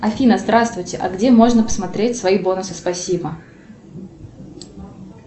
афина здравствуйте а где можно посмотреть свои бонусы спасибо